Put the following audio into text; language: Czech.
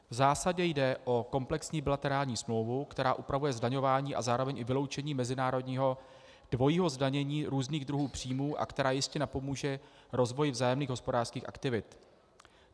V zásadě jde o komplexní bilaterální smlouvu, která upravuje zdaňování a zároveň i vyloučení mezinárodního dvojího zdanění různých druhů příjmů a která jistě napomůže rozvoji vzájemných hospodářských aktivit.